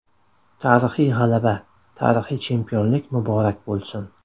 Tarixiy g‘alaba, tarixiy chempionlik muborak bo‘lsin!